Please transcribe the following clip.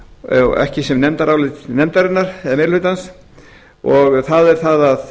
eigin brjósti ekki sem nefndarálit nefnarinnar eða meiri hluta það er að